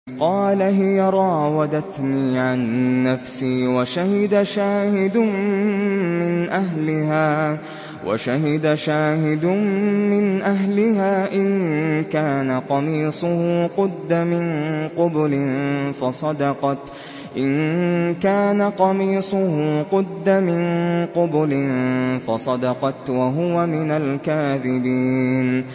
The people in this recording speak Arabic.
قَالَ هِيَ رَاوَدَتْنِي عَن نَّفْسِي ۚ وَشَهِدَ شَاهِدٌ مِّنْ أَهْلِهَا إِن كَانَ قَمِيصُهُ قُدَّ مِن قُبُلٍ فَصَدَقَتْ وَهُوَ مِنَ الْكَاذِبِينَ